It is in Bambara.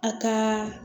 A ka